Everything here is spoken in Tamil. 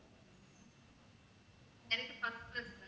எனக்கு first class